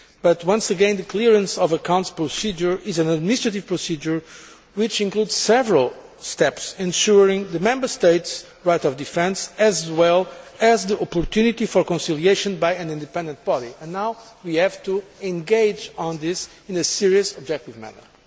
But once again, the clearance of accounts procedure is an initiative procedure which includes several steps ensuring the Member States' right of defence, as well as the opportunity for conciliation by an independent body. And now we have to engage with this in a serious, objective manner.